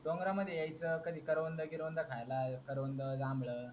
डोंगरामध्ये यायचा कधी करवंद वगैरे खायला करवंद जांभळं